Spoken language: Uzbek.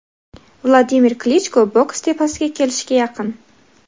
Vladimir Klichko boks tepasiga kelishga yaqin.